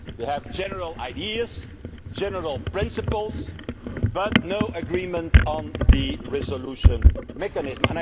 We have general ideas and general principles, but no agreement on the resolution mechanism.